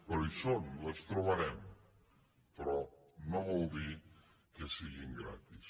però hi són les trobarem però no vol dir que siguin gratis